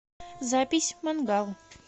запись мангал